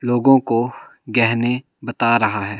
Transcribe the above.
लोगों को गहने बता रहा है।